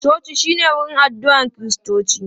Coci shi ne wurin addu'a Kiristoci.